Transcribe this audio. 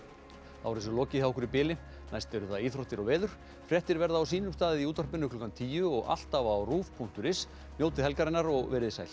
er þessu lokið hjá okkur í bili næst eru það íþróttir og veður fréttir verða á sínum stað í útvarpi klukkan tíu og alltaf á punktur is njótið helgarinnar verið þið sæl